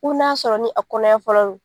U n'a sɔrɔ ni a kɔnɔ ɲɛ fɔlɔ lo